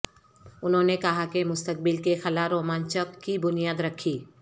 انہوں نے کہا کہ مستقبل کے خلا رومانچک کی بنیاد رکھی